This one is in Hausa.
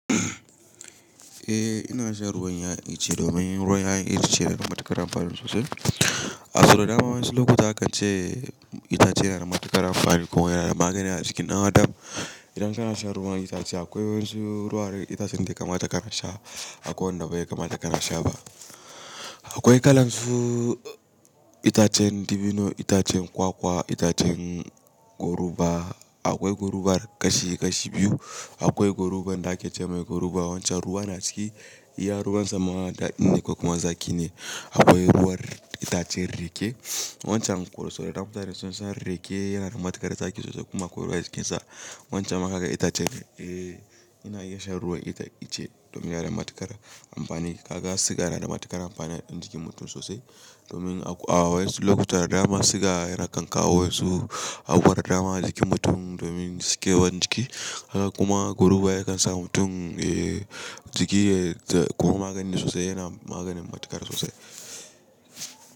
Eh ina shan ruwan 'ya'yan itace domin ruwan 'ya'yan itace yana da matuƙar amfani sosai. Ahso da dama wasu lokuta akan ce itace yana da matuƙar amfani kuma yana da magani a jikin ɗan adam. Idan kana shan ruwan itace akwai wasu ruwan itacen da ya kama ta kana sha, akwai wanda bai kama ta kana sha ba. Akwai kalarsu itacen dibino, itacen kwakwa, itacen goruba. Akwai gorubar kashi kashi biyu. Akwai gorubar da ake ce mai goruba wacce ruwa na ciki, iya ruwan sama da inda ko kuma zaƙi ne. Akwai ruwan itacen rake. Wancan itacen rake da na faɗa da sosai rake yana da matuƙar zaƙi sosai kuma akwai ruwa a cikinsa. Wancan haka itacen, ina iya shan ruwan itace domin yana da matuƙar amfani. Kaga siga yana da matuƙar amfani a jikin mutum sosai. Domin a wasu lokuta da dama siga ya kan kawo wasu a abubuwa da dama a jikin mutum domin suke jiki. Kuma goruba ya kan sa mutum, jiki yayi magani sosai, yana maganin matuƙar sosai.